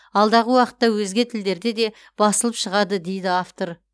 алдағы уақытта өзге тілдерде де басылып шығады дейді автор